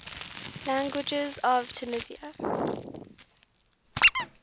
languages of tunisia